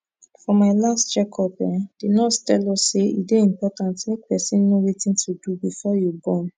for my last check up[um]the nurse tell us say e dey important make person know wetin to do before you born